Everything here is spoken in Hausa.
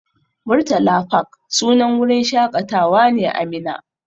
Murtala fak wurin shaƙatawa ne a Minna.